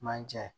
Manje